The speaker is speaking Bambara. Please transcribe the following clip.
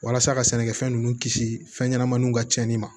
Walasa ka sɛnɛkɛfɛn ninnu kisi fɛn ɲɛnɛmaw ka cɛnni ma